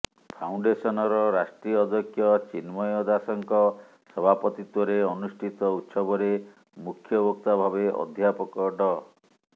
ଫାଉଣ୍ଡେସନର ରାଷ୍ଟ୍ରୀୟ ଅଧ୍ୟକ୍ଷ ଚିନ୍ମୟ ଦାଶଙ୍କ ସଭାପତିତ୍ୱରେ ଅନୁଷ୍ଠିତ ଉତ୍ସବରେ ମୁଖ୍ୟବକ୍ତା ଭାବେ ଅଧ୍ୟାପକ ଡ